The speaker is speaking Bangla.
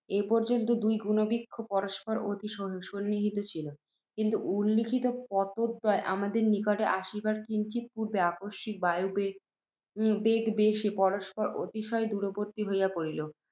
এ পর্য্যন্ত দুই গুণবৃক্ষ পরস্পর অতি সন্নিহিত ছিল, কিন্তু, উল্লিখিত পোতদ্বয় আমাদের নিকটে আসিবার কিঞ্চিৎ পূর্ব্বে, আকস্মিক বায়ুবেগবশে পরস্পর অতিশয় দূরবর্ত্তী হইয়া পড়িল।